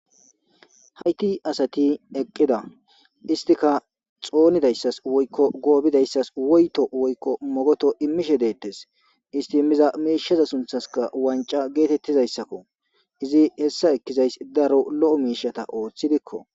Hayti asati eqqida istika xoonidayssas woykko goobidayssas woyto woykko mogoto immishe deettes isti miza meeshaza sunthaska wanca geetettizayssakko izi hessa ekkizays daro lo7o miishata ooththi dikko.